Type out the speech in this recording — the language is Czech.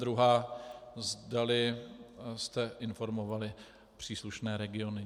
Druhá, zda jste informovali příslušné regiony.